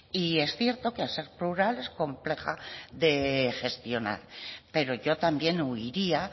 y es cierto que al ser plural es compleja de gestionar pero yo también huiría